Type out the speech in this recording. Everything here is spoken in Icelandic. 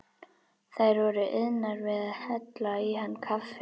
Þær voru iðnar við að hella í hann kaffi.